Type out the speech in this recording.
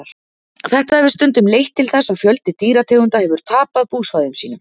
þetta hefur stundum leitt til þess að fjöldi dýrategunda hefur tapað búsvæðum sínum